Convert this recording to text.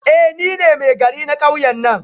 Eh nine Maigari na kauyen nan